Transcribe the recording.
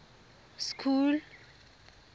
school